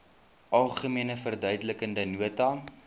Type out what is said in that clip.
algemene verduidelikende nota